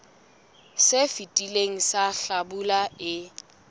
se fetileng sa hlabula e